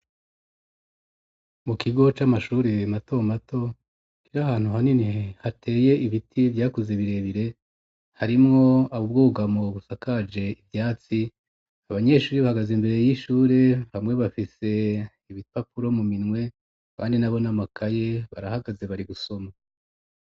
Mu kigo c'amashuri mato mato, kiri ahantu hanini hateye ibiti vyakuze birebire, harimwo Ubwogamo busakaje ivyatsi, abanyeshuri bahagaze imbere y'ishuri hamwe bafise ibipapuro mu minwe, abandi nabo n'amakaye barahagaze bari gusoma.